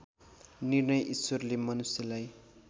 निर्णय ईश्वरले मनुष्यलाई